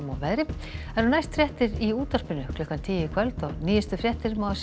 veðri það eru næst fréttir í útvarpinu klukkan tíu í kvöld og nýjustu fréttir má